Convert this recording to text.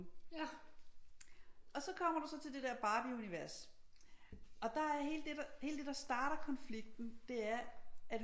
Og så kommer du så til det der Barbieunivers og der er hele det der hele det der starter konflikten det er at